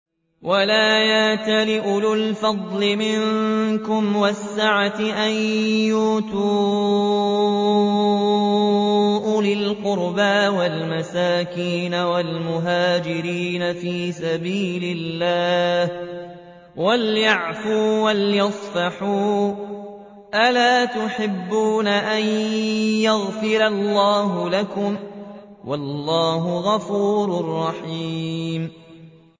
وَلَا يَأْتَلِ أُولُو الْفَضْلِ مِنكُمْ وَالسَّعَةِ أَن يُؤْتُوا أُولِي الْقُرْبَىٰ وَالْمَسَاكِينَ وَالْمُهَاجِرِينَ فِي سَبِيلِ اللَّهِ ۖ وَلْيَعْفُوا وَلْيَصْفَحُوا ۗ أَلَا تُحِبُّونَ أَن يَغْفِرَ اللَّهُ لَكُمْ ۗ وَاللَّهُ غَفُورٌ رَّحِيمٌ